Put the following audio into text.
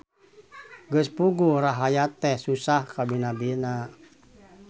Geus puguh rahayat teh susah kabina-bina.